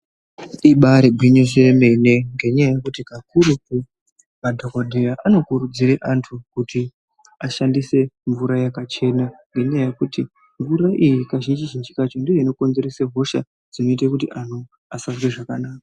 Ibari gwinyiso yemene, ngenyaya yekuti kakurutu madhokodheya anokurudzire antu kuti ashandise mvura yakachena ngenyaya yekuti mvura iyi kazhinji zhinji kacho ndiyo inokonzese hosha dzinoita kuti anhu asazwe zvakanaka.